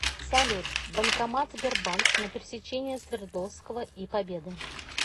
салют банкомат сбербанк на пересечении свердловского и победы